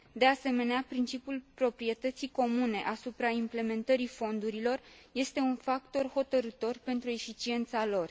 De asemenea, principiul proprietății comune asupra implementării fondurilor este un factor hotărâtor pentru eficiența lor.